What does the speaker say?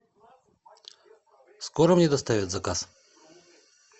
скоро мне доставят заказ